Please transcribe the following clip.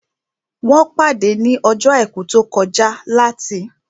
Wọ́n pàdé ní ọjọ́ àìkú tó kọjá láti